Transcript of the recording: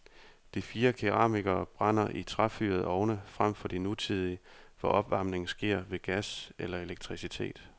De fire keramikere brænder i træfyrede ovne frem for de nutidige, hvor opvarmningen sker ved gas eller elektricitet.